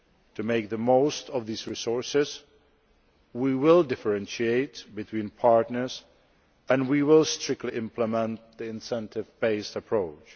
To make the most of these resources we will differentiate between partners and we will strictly implement the incentive based approach.